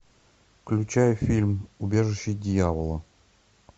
включай фильм убежище дьявола